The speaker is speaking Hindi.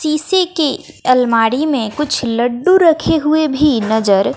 शीशे की अलमारी में कुछ लड्डू रखे हुए भी नजर--